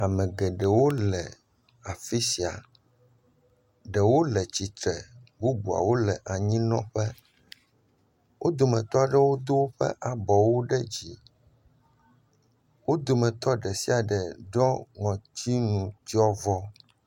Ame geɖewo le afi sia, ɖewo le tsitre, bubuawo le anyinɔƒe. Wo dometɔ aɖewo do woƒe abɔwo ɖe dzi, wo dometɔ ɖe sia ɖe ɖɔ ŋɔtinutsyɔvɔ.